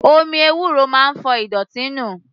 Omi ewúro máa ń fọ ìdọ̀tí inú.